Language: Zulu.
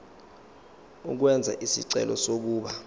ukwenza isicelo sokuba